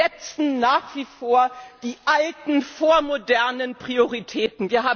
Wir setzen nach wie vor die alten vormodernen Prioritäten!